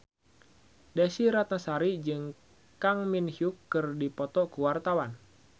Desy Ratnasari jeung Kang Min Hyuk keur dipoto ku wartawan